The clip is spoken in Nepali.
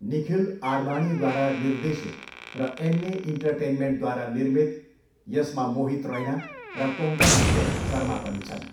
निखिल आडवाणीद्वारा निर्देशित र एम्मे इन्टरटेनमेन्टद्वारा निर्मित, यसमा मोहित रैना र कोङ्कणा सेन शर्मा पनि छन्।